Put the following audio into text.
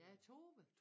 Ja Tove